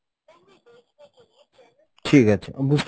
ঠিক আছে বুঝতে